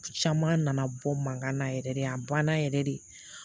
Caman nana bɔ mankan na yɛrɛ de a banna yɛrɛ de